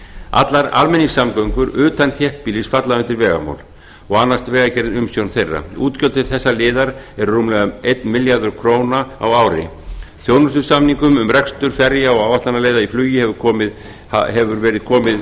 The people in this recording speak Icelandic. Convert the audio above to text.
allar almenningssamgöngur utan þéttbýlis falla undir vegamál og annast vegagerð umsjón þeirra útgjöld til þessa liðar eru rúmlega einn milljarður króna á ári þjónustusamningum um rekstur ferja og áætlanaleiða í flugi hefur verið komið